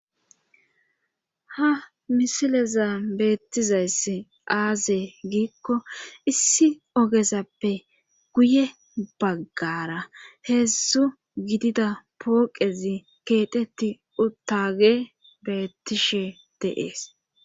ha misileza beettizayssi aaze giikko issi ogezappe guye baggara heedzdzu gidida pooqezi keetetti uttage beettishe deees